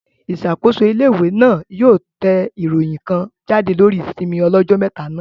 Ìṣàkóso ilé-ìwé náà yóò yóò tẹ ìròyìn kan jáde lórí ìsinmi ọlọ́jọ́ mẹ́ta náà